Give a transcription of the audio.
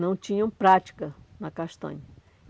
não tinham prática na castanha.